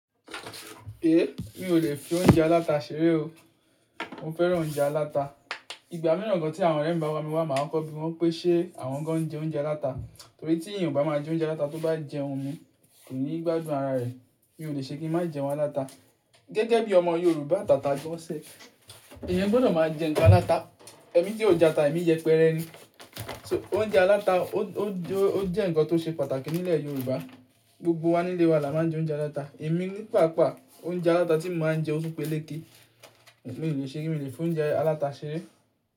Èéh, mi ò lè fi oúnjẹ aláta ṣeré o. Mo fẹ́ràn oúnjẹ aláta. Ìgbà mìíràn gan tí àwọn ọ̀rẹ́ mi bá wá mi wá, máa ń kọ́ bi wọ́n pé ṣe àwọn ń jẹ oúnjẹ aláta. Nítorí tí èèyàn ò bá máa jẹ oúnjẹ aláta, tó bá jẹun mi kò ní gbádùn ara rẹ̀. Mi ò lè ṣe kí n má jẹun aláta. Gẹ́gẹ́ bí ọmọ Yorùbá tata gbọnsẹ̀, èèyàn gbọ́dọ̀ máa jẹ nkan aláta. Ẹ̀mí tí ò jata, ẹ̀mí yẹ pẹrẹ ni. So oúnjẹ aláta ó-ó jẹ́ ǹkan tó ṣe pàtàkì nílẹ̀ Yorùbá. Gbogbo wa nílé wa la máa ń jẹ oúnjẹ aláta. Ẹ̀mí nípa àpá, oúnjẹ aláta tí mo máa ń jẹ ó tún pé léèkí. Èmi ò lè ṣe kí èmi lè fi oúnjẹ aláta ṣeré.